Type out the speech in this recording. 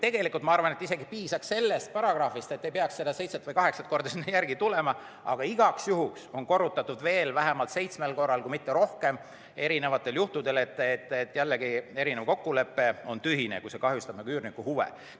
Tegelikult ma arvan, et isegi piisaks sellest paragrahvist, ei peaks seda seitse või kaheksa korda kinnitama, aga igaks juhuks on korrutatud veel vähemalt seitsmel korral, kui mitte rohkem, et kokkulepe on tühine, kui see kahjustab üürniku huve.